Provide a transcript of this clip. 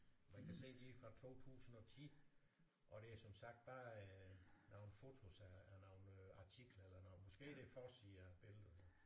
Man kan se de er fra 2010 og det er som sagt bare nogle fotos af af nogle artikler eller noget måske er det forsider billederne